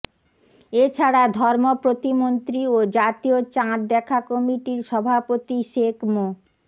এছাড়া ধর্ম প্রতিমন্ত্রী ও জাতীয় চাঁদ দেখা কমিটির সভাপতি শেখ মো